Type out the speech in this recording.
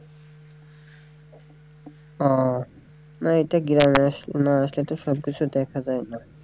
ও না এটা গ্রামে আসলে না আসলে তো সব কিছু দেখা যায়না।